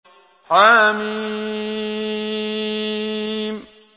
حم